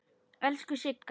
Elsku Sigga.